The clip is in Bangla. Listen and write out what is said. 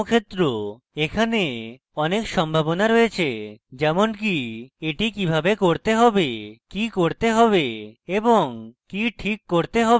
এখানে অনেক সম্ভাবনা রয়েছে যেমনকি এটি কিভাবে করতে have কি করতে have এবং কি ঠিক করতে have